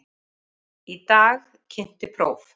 Í dag kynnti próf